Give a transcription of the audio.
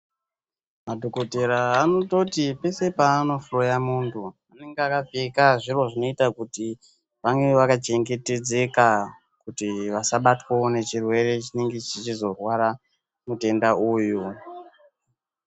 Madhokotera anototi pese paanohloya munthu anenge akapfeka zviro zvinoita kuti vange vakachengetedzeka kuti vasabatwa nechirwere chinenge chichizorware mutenda uyu.